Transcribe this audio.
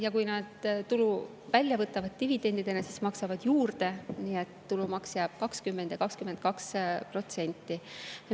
Ja kui nad võtavad tulu dividendidena välja, siis nad maksavad juurde, nii et tulumaks jääb 20% ja 22%.